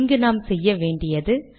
இங்கு நாம் செய்ய வேண்டியது